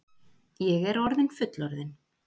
Ég er orðin fullorðin.